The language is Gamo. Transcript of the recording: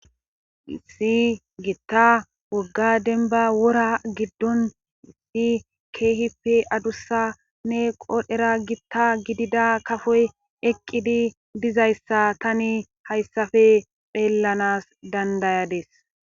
Si gitta wogga denba wora giddon ti keehipe adussanne qoodhera gitta gidida kafoy eqqidi dizayssa tani hayssafe pheellanas dandayades.